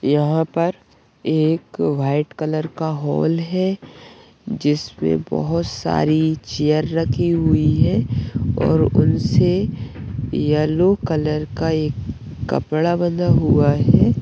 यहाँ पर एक वाइट कलर का हॉल है जिसपे बहुत सारी चेयर रखी हुई है और उनसे येलो कलर का एक कपड़ा बंधा हुआ है।